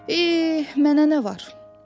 Eh, mənə nə var?